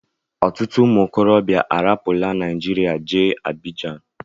Ọtụtụ ụmụ okorobịa arapula Nigeria jee Abidjan